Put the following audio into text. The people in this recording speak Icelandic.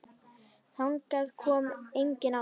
Þangað kom enginn áður.